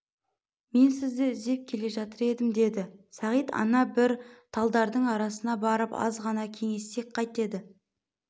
мен сізді іздеп келе жатыр едім деді сағит ана бір талдардың арасына барып азғана кеңессек қайтеді